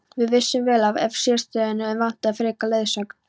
Við vissum vel af sérstöðunni en vantaði frekari leiðsögn.